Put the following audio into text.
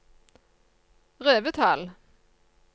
Revetal